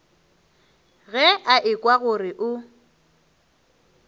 ge a ekwa gore o